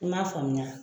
I m'a faamuya